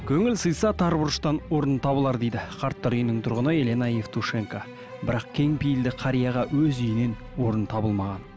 көңіл сыйса тар бұрыштан орын табылар дейді қарттар үйінің тұрғыны елена евтушенко бірақ кеңпейілді қарияға өз үйінен орын табылмаған